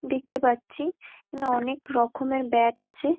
দেখতে পারছি এখানে অনকে রকমের ব্যাট আছে।